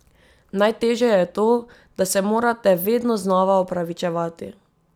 Najtežje je to, da se morate vedno znova opravičevati.